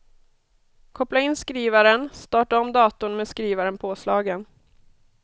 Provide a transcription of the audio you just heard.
Koppla in skrivaren, starta om datorn med skrivaren påslagen.